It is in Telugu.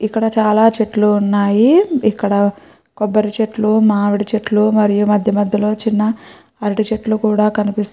ఇక్కడ చాల చెట్లు ఉన్నాయ్ ఇక్కడ కోబరి చెట్లు మామిడి చెట్లు మరియు మధ్య మధ్య న చిన్న అరటి చెట్లు కనిపిస్తూ --